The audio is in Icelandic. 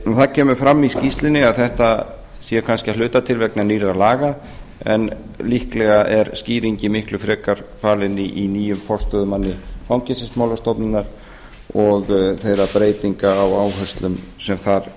það kemur fram í skýrslunni að þetta sé kannski að hluta til vegna nýrra laga en líklega er skýringin miklu frekar falin í nýjum forstöðumanni fangelsismálastofnunar og þeirra breytinga á áherslum sem þar